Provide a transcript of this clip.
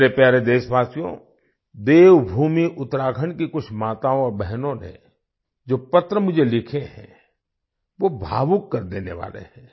मेरे प्यारे देशवासियो देवभूमि उत्तराखंड की कुछ माताओं और बहनों ने जो पत्र मुझे लिखे हैं वो भावुक कर देने वाले हैं